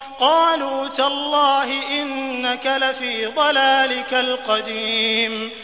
قَالُوا تَاللَّهِ إِنَّكَ لَفِي ضَلَالِكَ الْقَدِيمِ